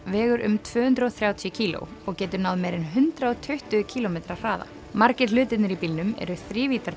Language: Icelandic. vegur um tvö hundruð og þrjátíu kíló og getur náð meira en hundrað og tuttugu kílómetra hraða margir hlutirnir í bílnum eru